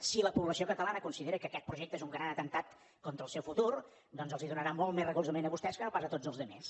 si la població catalana considera que aquest projecte és un gran atemptat contra el seu futur doncs els donarà molt més recolzament a vostès que no pas a tots els altres